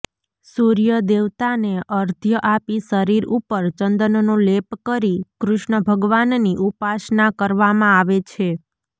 સૂર્ય દેવતાને અર્ધ્ય આપી શરીર ઉપર ચંદનનો લેપ કરી કૃષ્ણ ભગવાનની ઉપાસના કરવામાં આવે છે